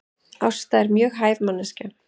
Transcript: Ásta er mjög hæf manneskja